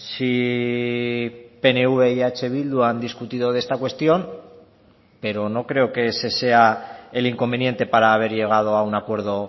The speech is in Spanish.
si pnv y eh bildu han discutido de esta cuestión pero no creo que ese sea el inconveniente para haber llegado a un acuerdo